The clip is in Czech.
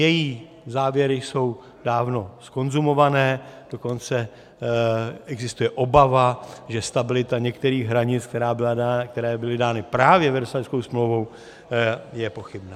Její závěry jsou dávno zkonzumované, dokonce existuje obava, že stabilita některých hranic, které byly dány právě Versailleskou smlouvou, je pochybná.